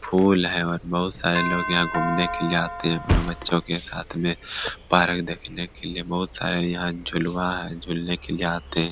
फूल है और बहुत सारे लोग यहाँ घूमने के लिए आते है अपने बच्चो के साथ में पार्क देखने के लिए बहुत सारे यहाँ झुलुआ है झूलने के लिए आते है।